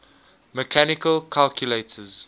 mechanical calculators